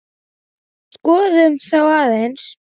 Skoðum þá aðeins.